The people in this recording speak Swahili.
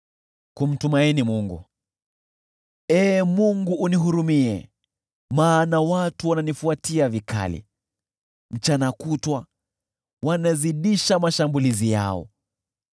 Ee Mungu unihurumie, maana watu wananifuatia vikali; mchana kutwa wanazidisha mashambulizi yao.